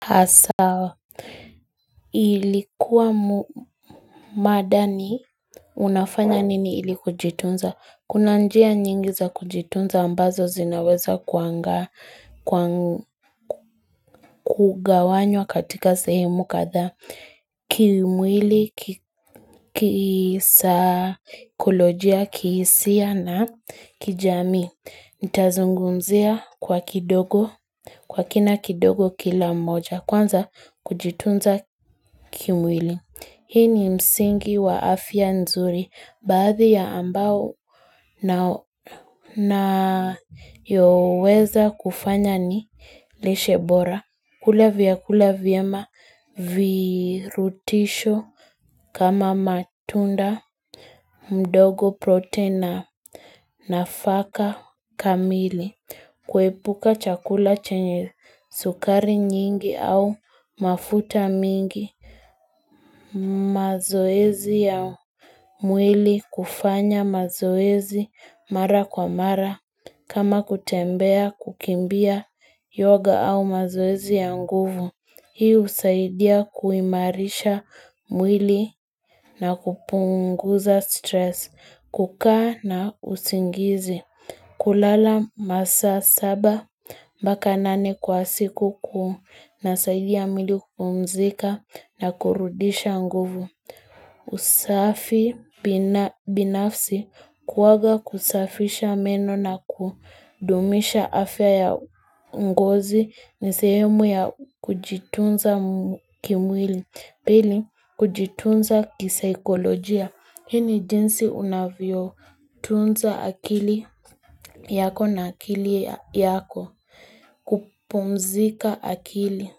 Hasa ilikuwa madani unafanya nini ili kujitunza. Kuna njia nyingi za kujitunza ambazo zinaweza kugawanywa katika sehemu katha. Kimwili, kisaikolojia, kihisia na kijamii. nItazungumzia kwa kidogo, kwa kina kidogo kila moja. Kwanza kujitunza kimwili. Hii ni msingi wa afya nzuri. Baadhi ya ambao na yoweza kufanya ni lishebora. Kula vyakula vyema virutubisho. Kama matunda, mdogo protein na faka kamili. Kuepuka chakula chenye sukari nyingi au mafuta mengi. Mazoezi ya. Mwili kufanya mazoezi mara kwa mara kama kutembea kukimbia yoga au mazoezi ya nguvu Hi husaidia kuimarisha mwili na kupunguza stress, kukaa na usingizi kulala masaa saba Mbaka nane kwa siku kunasaidia mwili kupumzika na kurudisha nguvu usafi binafsi kuoga kusafisha meno na kudumisha afya ya ngozi nisehemu ya kujitunza kimwili Pili kujitunza kisaikolojia Hii ni jinsi unavyo tunza akili yako na akili yako kupumzika akili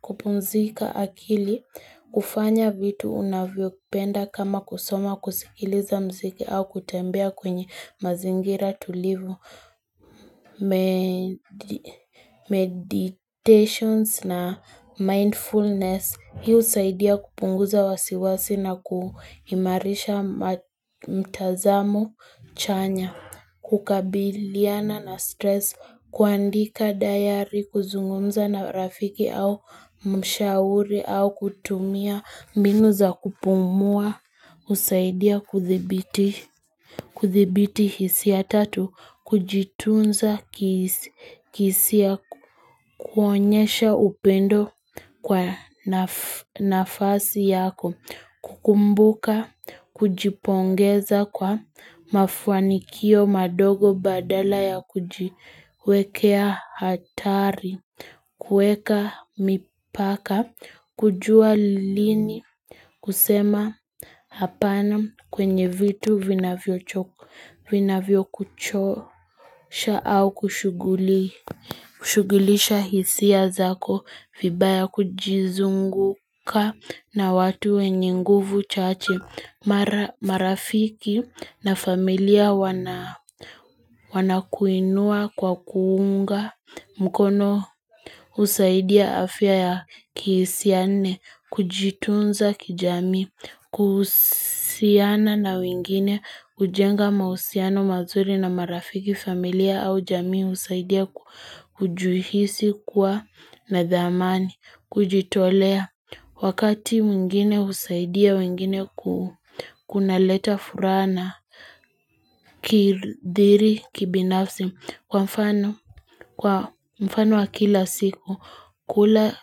kupumzika akili, kufanya vitu unavyopenda kama kusoma kusikiliza mziki au kutembea kwenye mazingira tulivu, meditations na mindfulness. Hi husaidia kupunguza wasiwasi na kuimarisha mtazamo chanya, kukabiliana na stress, kuandika diary, kuzungumza na rafiki au mshauri au kutumia. Mbinu za kupumua, husaidia kuthibiti hisia ya tatu, kujitunza kisihisia kuonyesha upendo kwa nafasi yako, kukumbuka, kujipongeza kwa mafanikio madogo badala ya kujiwekea athari, kuweka mipaka, kujua lini, kusema hapana kwenye vitu vinavyo kuchosha au kushugulisha hisia zako, vibaya kujizunguka na watu wenye nguvu chache marafiki na familia wanakuinua kwa kuunga. Mkono husaidia afya ya kihisia nne, kujitunza kijamii, kuhusiana na wengine, kujenga mahusiano mazuri na marafiki familia au jamii, husaidia kujuhisi kuwa nadhamani, kujitolea. Wakati mwingine kusaidia wengine kuna leta furaha na kidhiri kibinafsi kwa mfano wa kila siku kula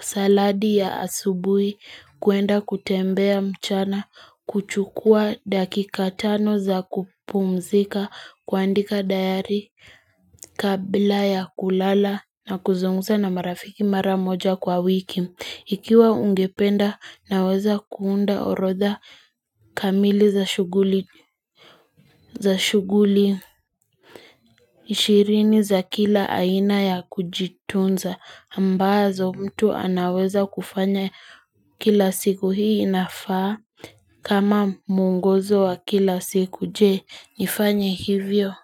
saladi ya asubuhi kuenda kutembea mchana kuchukua dakikatano za kupumzika kuandika diary kabla ya kulala na kuzungumza na marafiki maramoja kwa wiki Ikiwa ungependa naweza kuunda orodha kamili za shughuli. Ishirini za kila aina ya kujitunza ambazo mtu anaweza kufanya kila siku hii inafaa kama muongozo wa kila siku je nifanye hivyo.